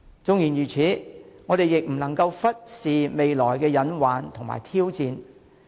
縱然如此，我們亦不能忽視未來的隱患和挑戰。